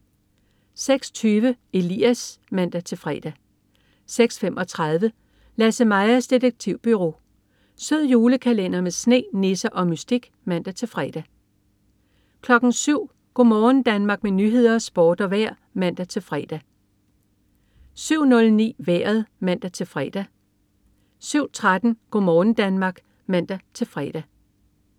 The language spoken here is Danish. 06.20 Elias (man-fre) 06.35 LasseMajas Detektivbureau. Sød julekalender med sne, nisser og mystik (man-fre) 07.00 Go' morgen Danmark med nyheder, sport og vejr (man-fre) 07.00 Nyhederne og Sporten (man-fre) 07.09 Vejret (man-fre) 07.13 Go' morgen Danmark (man-fre)